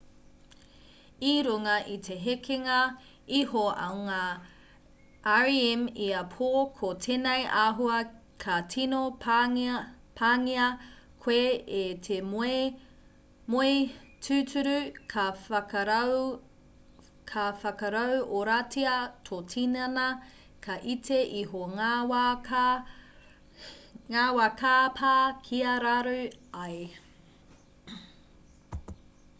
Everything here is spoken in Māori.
i runga i te hekenga iho o ngā rem ia pō ko tēnei āhua ka tino pāngia koe e te moe tūturu ka whakarauoratia tō tinana ka iti iho ngā wā ka pā kia raru ai